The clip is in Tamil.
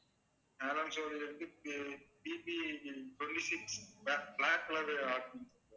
PPtwenty six black~black colour